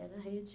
Era rede.